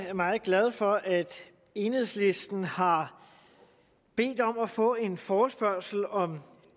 er meget glad for at enhedslisten har bedt om at få en forespørgsel om